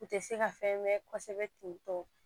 U tɛ se ka fɛn mɛn kosɛbɛ ten tɔ